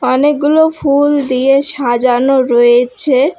অনেকগুলো ফুল দিয়ে সাজানো রয়েছে।